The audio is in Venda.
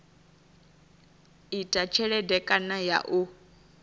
ita tshelede kana ya u